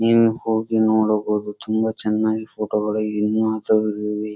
ನೀವು ಹೋಗಿ ನೋಡಬಹುದು ತುಂಬ ಚೆನ್ನಾಗಿ ಫೋಟೋ ಗಳು ಇನ್ನು